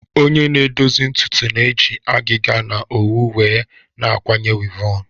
Onye na-edozi ntutu na-eji agịga na owu wee na-akwanye wịvọn